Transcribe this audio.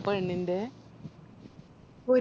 പെണ്ണിന്റെ